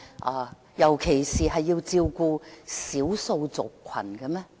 我們不是應該照顧社會上的少數族群嗎？